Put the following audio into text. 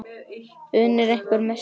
Unir hver með sitt.